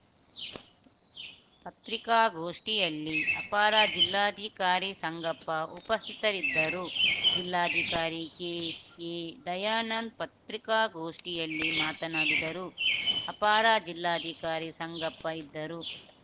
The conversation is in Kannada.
ಪತ್ರಿಕಾಗೋಷ್ಠಿಯಲ್ಲಿ ಅಪಾರ ಜಿಲ್ಲಾಧಿಕಾರಿ ಸಂಗಪ್ಪ ಉಪಸ್ಥಿತರಿದ್ದರು ಜಿಲ್ಲಾಧಿಕಾರಿ ಕೆಎದಯಾನಂದ್‌ ಪತ್ರಿಕಾಗೋಷ್ಠಿಯಲ್ಲಿ ಮಾತನಾಡಿದರು ಅಪಾರ ಜಿಲ್ಲಾಧಿಕಾರಿ ಸಂಗಪ್ಪ ಇದ್ದರು